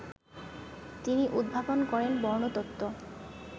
তিনি উদ্ভাবন করেন বর্ণতত্ত্ব